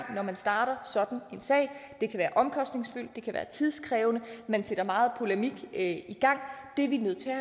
når man starter sådan en sag det kan være omkostningsfyldt det kan være tidkrævende man sætter meget polemik i gang det er vi nødt til at